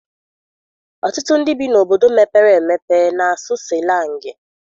Ọtụtụ ndị bi n'obodo mepere emepe na-asụ sịlangị.